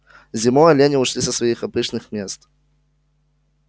зимой олени ушли со своих обычных мест